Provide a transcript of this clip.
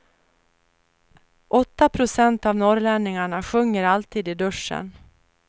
Åtta procent av norrlänningarna sjunger alltid i duschen.